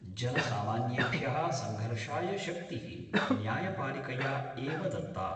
जनसामान्येभ्य: संघर्षाय शक्ति: न्यायपालिकया एव दत्ता।